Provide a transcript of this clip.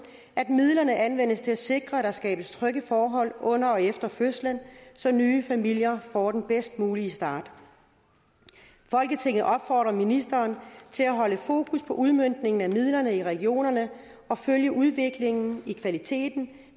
at midlerne anvendes til at sikre at der skabes trygge forhold under og efter fødslen så nye familier får den bedst mulige start folketinget opfordrer ministeren til at holde fokus på udmøntningen af midlerne i regionerne og følge udviklingen i kvaliteten